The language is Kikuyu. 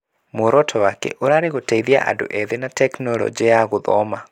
Mũoroto wake ũrarĩ gũteithia andũ ethĩ na tekinoronjĩ ya gũthoma.